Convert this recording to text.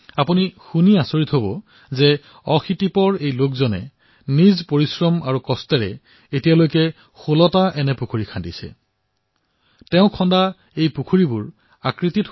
আপুনি আচৰিত হব যে এই ৮০৮৫ বছৰীয়া কামেগোড়াই এই পৰ্যন্ত ১৬টা পুখুৰী খান্দিছে নিজৰ পৰিশ্ৰমৰ দ্বাৰা